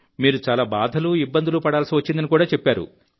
మీరు చాలా బాధలు ఇబ్బందులు పడాల్సి వచ్చిందని చెప్పారు